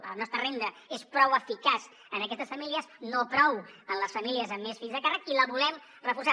la nostra renda és prou eficaç en aquestes famílies no prou en les famílies amb més fills a càrrec i la volem reforçar